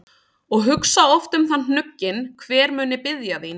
og hugsa oft um það hnugginn, hver muni biðja þín.